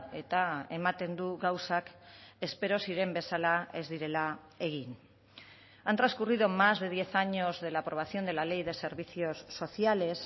eta ematen du gauzak espero ziren bezala ez direla egin han transcurrido más de diez años de la aprobación de la ley de servicios sociales